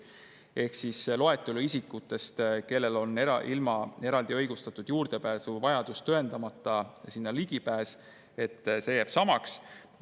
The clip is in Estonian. Ehk see loetelu isikutest, kellel on ligipääs ilma eraldi õigustatud juurdepääsuvajadust tõendamata, jääb samaks.